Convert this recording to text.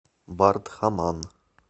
бардхаман